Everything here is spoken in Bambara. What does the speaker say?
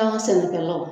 An ka sɛnɛkɛlaw